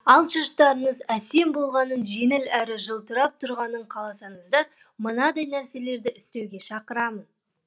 ал шаштарыңыз әсем болғанын жеңіл әрі жылтырап тұрғанын қаласаңыздар мынадай нәрселерді істеуге шақырамын